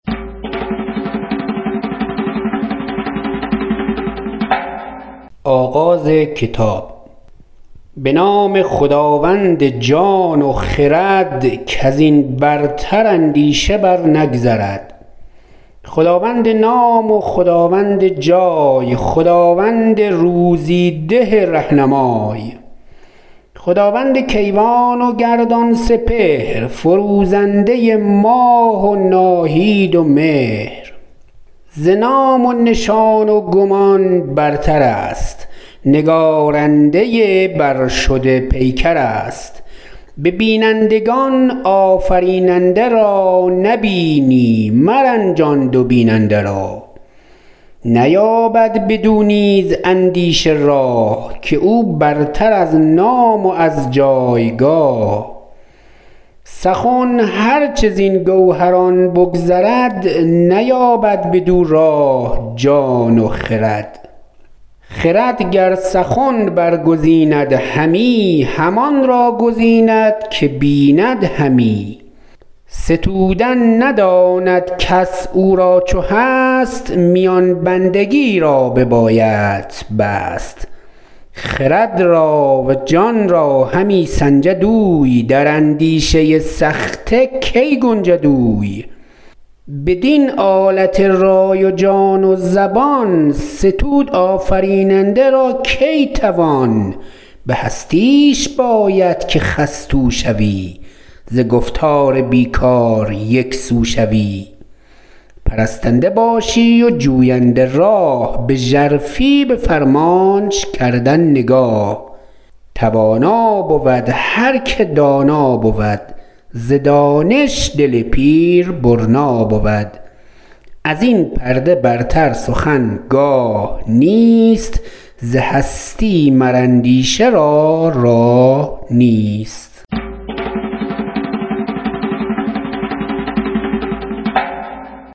به نام خداوند جان و خرد کز این برتر اندیشه بر نگذرد خداوند نام و خداوند جای خداوند روزی ده رهنمای خداوند کیوان و گردان سپهر فروزنده ماه و ناهید و مهر ز نام و نشان و گمان برتر است نگارنده برشده پیکر است به بینندگان آفریننده را نبینی مرنجان دو بیننده را نیابد بدو نیز اندیشه راه که او برتر از نام و از جایگاه سخن هر چه زین گوهران بگذرد نیابد بدو راه جان و خرد خرد گر سخن برگزیند همی همان را گزیند که بیند همی ستودن نداند کس او را چو هست میان بندگی را ببایدت بست خرد را و جان را همی سنجد اوی در اندیشه سخته کی گنجد اوی بدین آلت رای و جان و زبان ستود آفریننده را کی توان به هستیش باید که خستو شوی ز گفتار بی کار یکسو شوی پرستنده باشی و جوینده راه به ژرفی به فرمانش کردن نگاه توانا بود هر که دانا بود ز دانش دل پیر برنا بود از این پرده برتر سخن گاه نیست ز هستی مر اندیشه را راه نیست